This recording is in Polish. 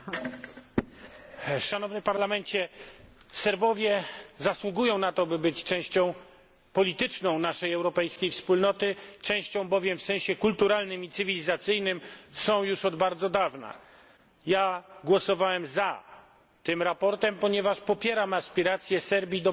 Pani Przewodnicząca! Serbowie zasługują na to, by być częścią polityczną naszej europejskiej Wspólnoty, częścią bowiem w sensie kulturalnym i cywilizacyjnym są już od bardzo dawna. Głosowałem za tym sprawozdaniem, ponieważ popieram aspiracje Serbii do bycia w Unii Europejskiej.